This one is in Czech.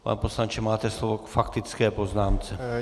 Pane poslanče, máte slovo k faktické poznámce.